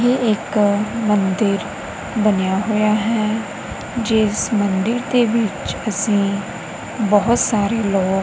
ਇਹ ਇੱਕ ਮੰਦਿਰ ਬਨਿਆ ਹੋਇਆ ਹੈ ਜਿੱਸ ਮੰਦਿਰ ਦੇ ਵਿੱਚ ਅੱਸੀ ਬੋਹਤ ਸਾਰੇ ਲੋਗ--